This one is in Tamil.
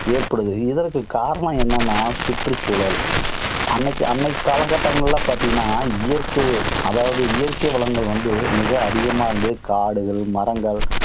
ஏற்படுது. இதற்கு காரணம் என்னன்னா சுற்றுச்சூழல். அன்றைய காலகட்டங்களில பார்த்தீங்கன்னா இயற்கையே, அதாவது இயற்கை வளங்கள் வந்து மிக அதிகமா வந்து காடுகள், மரங்கள்,